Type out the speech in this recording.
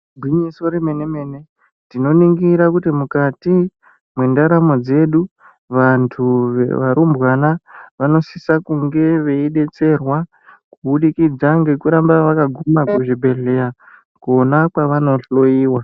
Igwinyiso remene -mene tinoningira kuti mukati mwendaramo dzedu, vantu varumbwana vanosisa kunge veidetserwa kuburikidza ngekuramba vakaguma kuzvibhedhlera kwavanenge veihloyiwa.